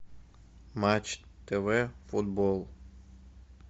матч тв футбол